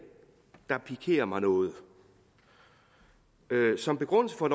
der pikerer mig noget som begrundelse for